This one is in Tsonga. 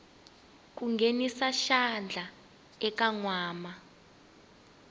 ku nghenisa xandla eka nkwama